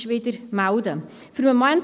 – Dies scheint nicht der Fall zu sein.